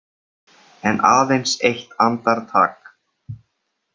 En aðeins eitt andartak.